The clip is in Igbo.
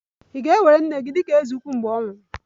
Ị̀ ga-ewere nne gị dị ka eze ukwu mgbe ọ nwụrụ?